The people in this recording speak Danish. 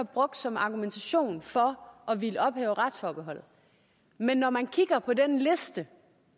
brugt som argumentation for at ville ophæve retsforbeholdet men når man kigger på den liste